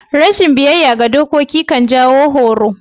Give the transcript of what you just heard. Rashin biyyaya ga dokoki kan jawon horo.